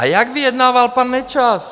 A jak vyjednával pan Nečas?